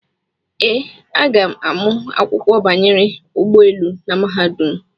Ee, aga m amụ akwụkwọ banyere ụgbọelu na mahadum.